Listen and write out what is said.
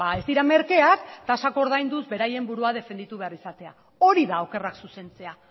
ez dira merkeak ordainduz beraien burua defendatu behar izatea hori da okerrak zuzentzea